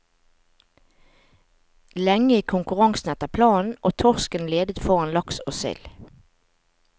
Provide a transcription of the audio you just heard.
Lenge gikk konkurransen etter planen, og torsken ledet foran laks og sild.